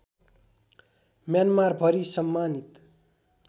म्यानमारभरि सम्मानित